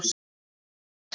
Eða Hvað?